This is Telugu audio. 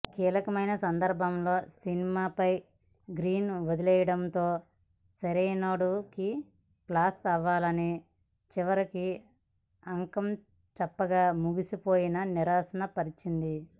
కీలకమైన సందర్భంలో సినిమాపై గ్రిప్ వదిలేయడంతో సరైనోడుకి ప్లస్ అవ్వాల్సిన చివరి అంకం చప్పగా ముగిసిపోయి నిరాశ పరిచింది